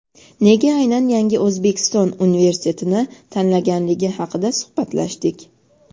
nega aynan "Yangi O‘zbekiston" universitetini tanlaganligi haqida suhbatlashdik.